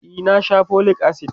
e na Sha folic acid